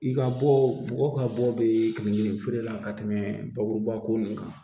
I ka bɔ mɔgɔ ka bɔ bɛ kelen kelen feere la ka tɛmɛ bakuruba ko nin kan